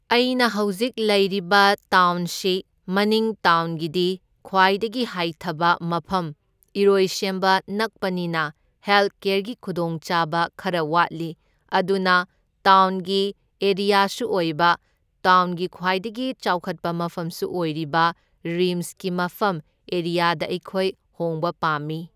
ꯑꯩꯅ ꯍꯧꯖꯤꯛ ꯂꯩꯔꯤꯕ ꯇꯥꯎꯟꯁꯤ ꯃꯅꯤꯡ ꯇꯥꯎꯟꯒꯤꯗꯤ ꯈ꯭ꯋꯥꯏꯗꯒꯤ ꯍꯥꯏꯊꯕ ꯃꯐꯝ ꯏꯔꯣꯏꯁꯦꯝꯕ ꯅꯛꯄꯅꯤꯅ ꯍꯦꯜꯀꯦꯔꯒꯤ ꯈꯨꯗꯣꯡꯆꯥꯕ ꯈꯔ ꯋꯥꯠꯂꯤ, ꯑꯗꯨꯅ ꯇꯥꯎꯟꯒꯤ ꯑꯦꯔꯤꯌꯥꯁꯨ ꯑꯣꯏꯕ ꯇꯥꯎꯟꯒꯤ ꯈ꯭ꯋꯥꯏꯗꯒꯤ ꯆꯥꯎꯈꯠꯄ ꯃꯐꯝꯁꯨ ꯑꯣꯏꯔꯤꯕ ꯔꯤꯝꯁꯀꯤ ꯃꯐꯝ ꯑꯦꯔꯤꯌꯥꯗ ꯑꯩꯈꯣꯏ ꯍꯣꯡꯕ ꯄꯥꯝꯃꯤ꯫